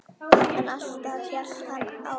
En alltaf hélt hann áfram.